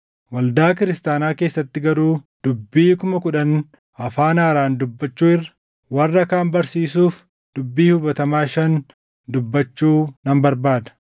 Waldaa kiristaanaa keessatti garuu dubbii kuma kudhan afaan haaraan dubbachuu irra warra kaan barsiisuuf dubbii hubatamaa shan dubbachuu nan barbaada.